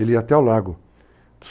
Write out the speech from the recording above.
Ele ia até o lago.